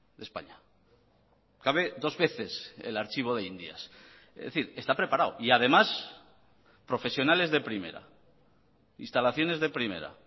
de españa cabe dos veces el archivo de indias es decir está preparado y además profesionales de primera instalaciones de primera